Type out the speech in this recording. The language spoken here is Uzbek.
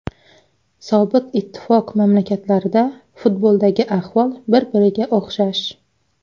Sobiq Ittifoq mamlakatlarida futboldagi ahvol bir-biriga o‘xshash.